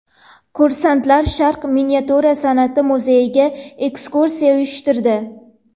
Kursantlar Sharq miniatyura san’ati muzeyiga ekskursiya uyushtirdi .